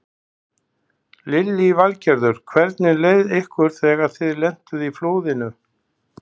Lillý Valgerður: Hvernig leið ykkur þegar þið lentuð í flóðinu?